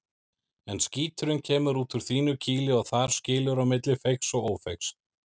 En skíturinn kemur út úr þínu kýli og þar skilur á milli feigs og ófeigs.